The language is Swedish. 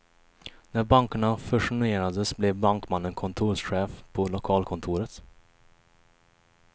När bankerna fusionerades blev bankmannen kontorschef på lokalkontoret.